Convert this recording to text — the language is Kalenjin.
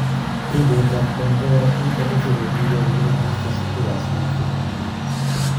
pichait ap Convair B-36 kogiyopu Clemens Vasters en Flickr